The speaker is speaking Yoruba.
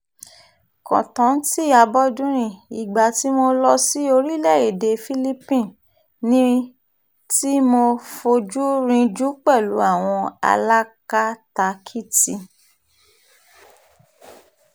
kọ́ńtántí abọ́dúnrin ìgbà tí mo lọ sí orílẹ̀-èdè philipine ní tí mo fojú rìnjú pẹ̀lú àwọn alákatakítí